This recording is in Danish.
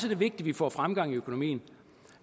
vigtigt at vi får fremgang i økonomien